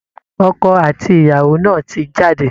Ọkọ àti ìyàwó náà ti jáde